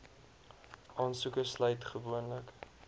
aansoeke sluit gewoonlik